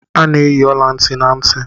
A na-eyi ọla ntị na ntị.